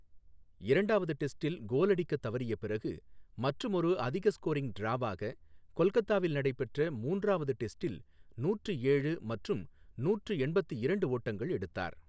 இரண்டாவது டெஸ்டில் கோல் அடிக்கத் தவறிய பிறகு, மற்றுமொரு அதிக ஸ்கோரிங் டிராவாக, கொல்கத்தாவில் நடைபெற்ற மூன்றாவது டெஸ்டில் நூற்று ஏழு மற்றும் நூற்று எண்பத்து இரண்டு ஓட்டங்கள் எடுத்தார்.